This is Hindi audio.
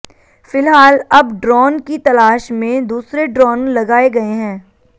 फिलहाल अब ड्रोन की तलाश में दूसरे ड्रोन लगाए गए हैं